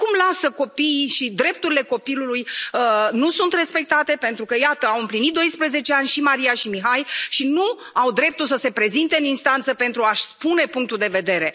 Europa? Cum lasă copiii și drepturile copilului să nu fie respectate, pentru că iată, au împlinit 12 ani, și Maria, și Mihai, și nu au dreptul să se prezinte în instanță pentru a și spune punctul de